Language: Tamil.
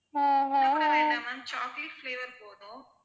ma'am chocolate flavor போதும்.